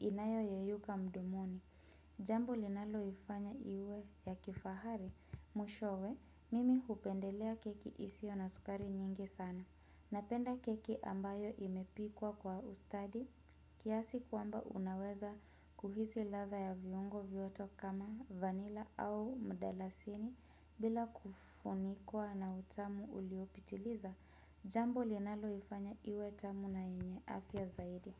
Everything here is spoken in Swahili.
Inayo yeyuka mdomoni. Jambo linalo ifanya iwe ya kifahari. Mwishowe, mimi hupendelea keki isio na sukari nyingi sana. Napenda keki ambayo imepikwa kwa ustadi. Kiasi kwamba unaweza kuhisi latha ya viungo vyote kama vanila au mdalasini. Bila kufunikwa na utamu uliopitiliza jambo linalo ifanya iwe tamu na yenye afya zaidi.